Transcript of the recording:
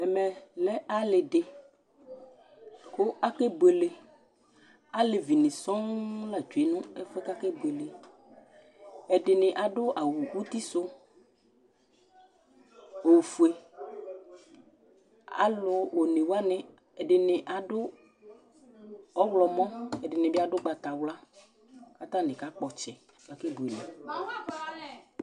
Ɛmɛ lɛ aliɖi kʋ akebʋele Alevi ni sɔɔ la kɔ ŋu ɛfʋɛ kʋ akebʋele Ɛɖìní aɖu awu uti su ɔfʋe Alu ɔne waŋi, ɛɖìní aɖu ɔwlɔmɔ Ɛɖìní aɖu ʋgbatawla kʋ ataŋi aka kpɔ ɔtsɛ kʋ akebʋele o